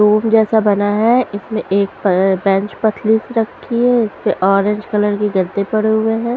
Room जैसा बना है इसमें एक पअअ बेंच पतली सी रखी है इस पे ऑरेंज कलर के गद्दे पड़े हुए हैं।